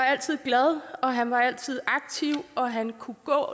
altid glad og han var altid aktiv og han kunne